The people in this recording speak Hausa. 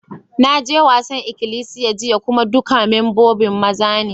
Na je wasan ikilisiyan jiya kuma dukan membobin maza ne.